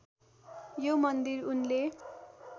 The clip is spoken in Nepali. यो मन्दिर उनले